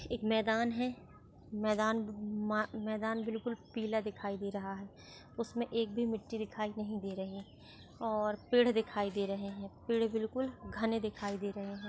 एक मैदान है मैदान हम्म मा मैदान बिलकुल पीला दिखाई दे रहा है उसमे एक भी मिट्टी दिखाई नहीं दे रहे और पेड़ दिखाई दे रहे है पेड़ बिलकुल घने दिखाई दे रहे है।